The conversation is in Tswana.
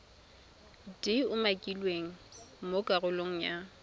di umakilweng mo karolong ya